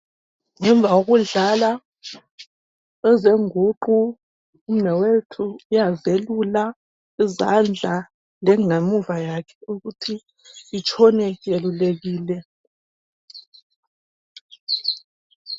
Ngemva kokudlala ezengunqu umnewethu uyazelula izandla lengamuva yakhe ukuthi itshone yelulekile.